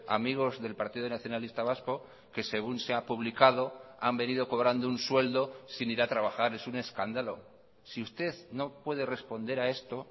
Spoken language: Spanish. amigos del partido nacionalista vasco que según se ha publicado han venido cobrando un sueldo sin ir a trabajar es un escándalo si usted no puede responder a esto